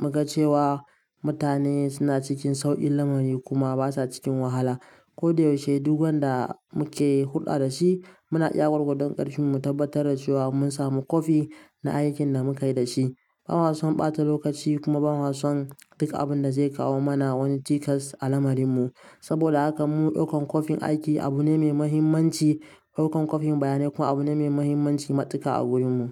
mu ga cewa mutane suna cikin sauƙin lamari kuma ba sa cikin wahala. Ko da yaushe duk wanda muke hulɗa da shi, muna iya gwargodon ƙarfimmu mu tabbatar da cewa mun samu copy na aikin da mu ka yi da shi. Bama son ɓata lokaci kuma bama son duk abin da zai kawo mana wani cikas a lamarin mu. Saboda haka mu ɗaukan coping aiki abu ne mai muhimmanci. Ɗaukan coping bayanai kuma abu ne mai muhimmanci matuƙa a wurin mu.